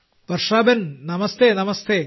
Varshaben namaste നമസ്തെ